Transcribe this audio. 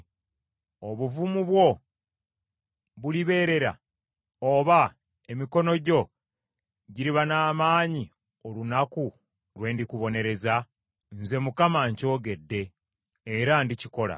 Obuvumu bwo bulibeerera, oba emikono gyo giriba n’amaanyi olunaku lwe ndikubonereza? Nze Mukama nkyogedde, era ndikikola.